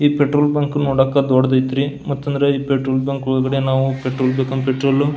ಈ petrol bunk ನೋಡಾಕ ದೊಡ್ಡದೈತ್ರಿ ಮತ್ತಂದ್ರ ಈ ಪೆಟ್ರೋಲ್ ಬಂಕ್ ಪೆಟ್ರೋಲ್ ಬೇಕಂದ್ರೆ ಪೆಟ್ರೋಲ್ --